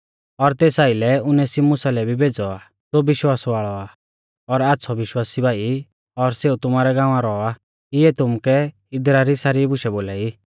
और तेस आइलै उनेसिमुसा लै भी भेज़ौ आ ज़ो विश्वास वाल़ौ आ और आच़्छ़ौ विश्वासी भाई और सेऊ तुमारै गांवा रौ आ इऐ तुमुकै इदरा री सारी बुशै बोलाई